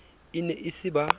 e ne e se ba